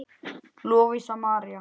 Lovísa María.